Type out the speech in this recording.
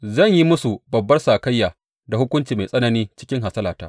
Zan yi musu babbar sakayya da hukunci mai tsanani cikin hasalata.